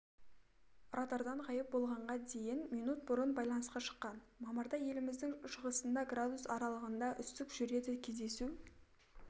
радардан ғайып болғанға дейін минут бұрын байланысқа шыққан мамырда еліміздің шығысында градус аралығында үсік жүреді кездесу